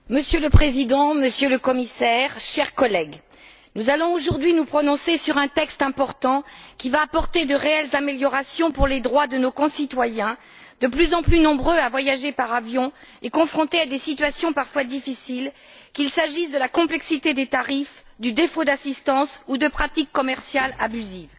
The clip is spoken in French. Monsieur le Président, Monsieur le Commissaire, chers collègues, nous allons aujourd'hui nous prononcer sur un texte important, qui va apporter de réelles améliorations pour les droits de nos concitoyens, de plus en plus nombreux à voyager par avion, et confrontés à des situations parfois difficiles, qu'il s'agisse de la complexité des tarifs, du défaut d'assistance ou de pratiques commerciales abusives.